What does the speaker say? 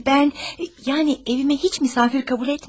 Mən yəni evimə heç misafir kabul etmədim.